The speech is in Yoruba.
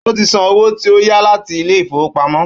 Ó ti san owó tí ó yá láti ilé ìfowópamọ́